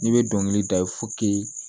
N'i bɛ dɔnkili da i